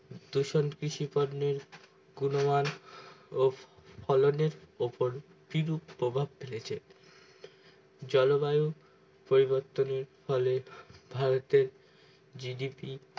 দূষণ কৃষি পণ্যের গুণমান ও ফলনের উপর কিরূপ প্রভাব ফেলেছে জলবায়ু পরিবর্তনের ফলে ভারতে GDP